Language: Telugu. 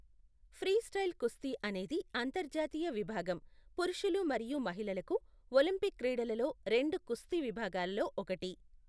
ఫ్రీస్టైల్ కుస్తీ అనేది అంతర్జాతీయ విభాగం, పురుషులు మరియు మహిళలకు ఒలింపిక్ క్రీడలలో రెండు కుస్తీ విభాగాలలో ఒకటి.